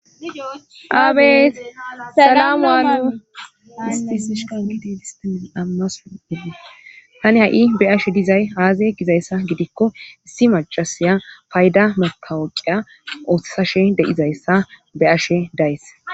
aabees sadamuwaa ispisishikaotiistai amaseddi tani ha7i be ashe dizay haaza gizayssa gidikko issi machasaya fayda motawoqiya ooththashe de7izayssa be ashe days